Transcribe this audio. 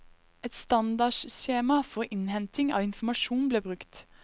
Et standardskjema for innhenting av informasjon ble brukt.